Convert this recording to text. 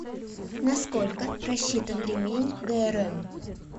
на сколько рассчитан ремень грм